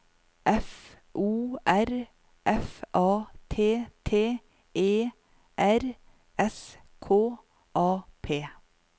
F O R F A T T E R S K A P